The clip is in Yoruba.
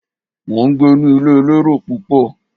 Mo ń gbé ní ilé elérò púpọ̀.